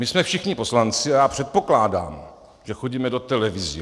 My jsme všichni poslanci a já předpokládám, že chodíme do televizí.